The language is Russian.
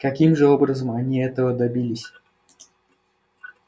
каким же образом они этого добились